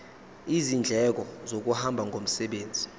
izindleko zokuhamba ngomsebenzi